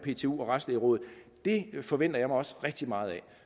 ptu og retslægerådet forventer jeg mig også rigtig meget af